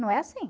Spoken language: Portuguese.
Não é assim.